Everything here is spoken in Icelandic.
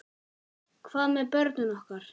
Hvað með börnin okkar?